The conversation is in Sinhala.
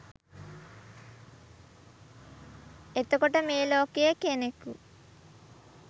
එතකොට මේ ලෝකයේ කෙනෙකු